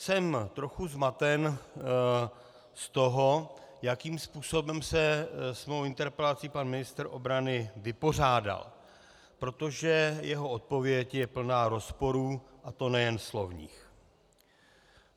Jsem trochu zmaten z toho, jakým způsobem se s mou interpelací pan ministr obrany vypořádal, protože jeho odpověď je plná rozporů, a to nejen slovních.